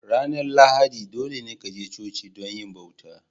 Ranar Lahadi dolene ka je coci don yi bauta.